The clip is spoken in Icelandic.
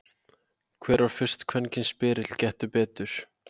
Hver var fyrsti kvenkyns spyrill Gettu betur?